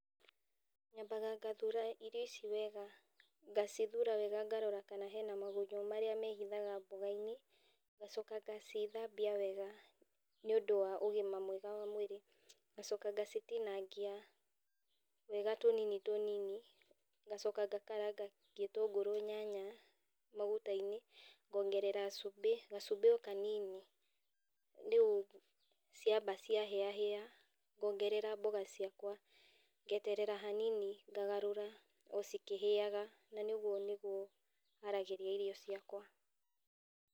Nyambaga ngathura irio ici wega, ngacithura wega ngarora kana hena magunyũ marĩa mehithaga mboga-inĩ, ngacoka ngacithambia wega nĩũndũ wa ũgima mwega wa mũĩrĩ, ngacoka ngacitinangia wega tũnini tũnini, ngacoka ngakaranga gĩtũngũrũ, nyanya, maguta-inĩ, ngongerera cumbi, gacumbi o kanini, rĩu ciamba cia hĩa hĩa ngongerera mboga ciakwa, ngeterera hanini ngagarũra o cikĩhĩaga, na niĩ ũguo nĩguo haragĩrĩria irio ciakwa.